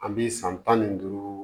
An bi san tan ni duuru